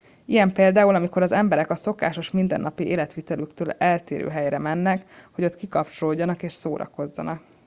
ilyen például amikor az emberek a szokásos mindennapi életvitelüktől eltérő helyre mennek hogy ott kikapcsolódjanak és szórakozzanak